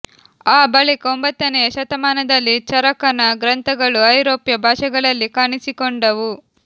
ಆ ಬಳಿಕ ಒಂಬತ್ತನೆಯ ಶತಮಾನದಲ್ಲಿ ಚರಕನ ಗ್ರಂಥಗಳು ಐರೋಪ್ಯ ಭಾಷೆಗಳಲ್ಲಿ ಕಾಣಿಸಿಕೊಂಡವು